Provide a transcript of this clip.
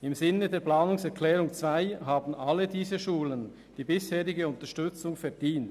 Im Sinne der Planungserklärung 2 haben alle diese Schulen die bisherige Unterstützung verdient.